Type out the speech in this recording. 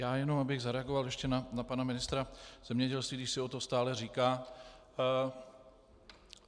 Já jenom abych zareagoval ještě na pana ministra zemědělství, když si o to stále říká.